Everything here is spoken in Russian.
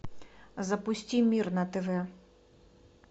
запусти мир на тв